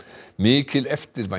mikil eftirvænting